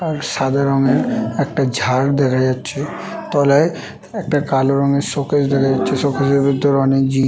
আর সাদা রঙের একটা ঝাড় দেখা যাচ্ছে | তলায় একটা কালো রঙের শোকেস দেখা যাচ্ছে শোকেস -এর ভিতর অনেক জি--